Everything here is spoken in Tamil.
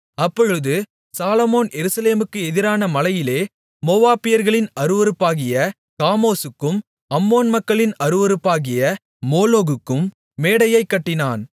அப்பொழுது சாலொமோன் எருசலேமுக்கு எதிரான மலையிலே மோவாபியர்களின் அருவருப்பாகிய காமோசுக்கும் அம்மோன் மக்களின் அருவருப்பாகிய மோளோகுக்கும் மேடையைக் கட்டினான்